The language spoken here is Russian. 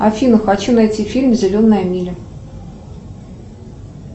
афина хочу найти фильм зеленая миля